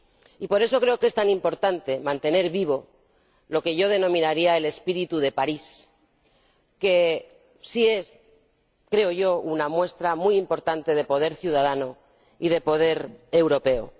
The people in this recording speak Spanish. Y por eso creo que es tan importante mantener vivo lo que yo denominaría el espíritu de París, que sí es —creo yo— una muestra muy importante de poder ciudadano y de poder europeo.